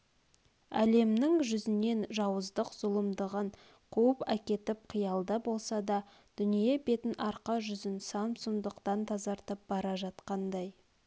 әлемнің жүзнен жауыздық зұлымдығын қуып әкетіп қиялда болса да дүние бетін арқа жүзін сан сұмдықтан тазартып бара жатқандай